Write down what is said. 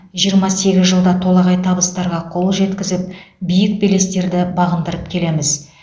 жиырма сегіз жылда толағай табыстарға қол жеткізіп биік белестерді бағындырып келеміз